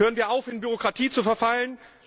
Hören wir auf, in Bürokratie zu verfallen!